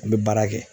An bɛ baara kɛ